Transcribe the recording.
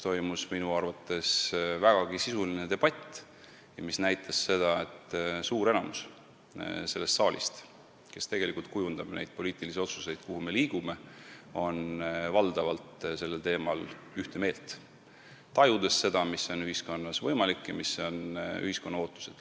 Minu arvates toimus siin vägagi sisuline debatt, mis näitas seda, et suur enamus sellest saalist, kes tegelikult kujundab poliitilisi otsuseid, seda, kuhu me liigume, on sellel teemal valdavalt ühte meelt, tajudes, mis on ühiskonnas võimalik ja millised on ühiskonna ootused.